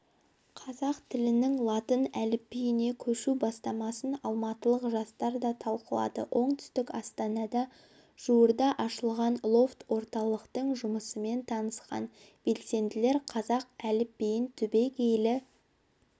қазақ тілінің латын әліпбиіне көшу бастамасын алматылық жастар да талқылады оңтүстік астанада жуырда ашылған лофт-орталықтың жұмысымен танысқан белсенділер қазақ әліпбиін түбегейлі